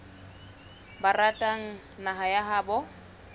ba ratang naha ya habo